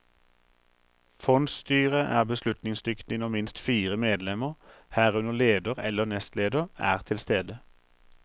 Fondsstyret er beslutningsdyktig når minst fire medlemmer, herunder leder eller nestleder, er til stede.